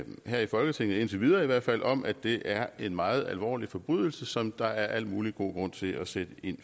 her i folketinget indtil videre i hvert fald om at det er en meget alvorlig forbrydelse som der er al mulig god grund til at sætte ind